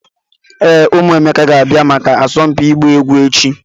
Ee, ụmụ Emeka ga-abịa maka asọmpi ịgba egwu echi.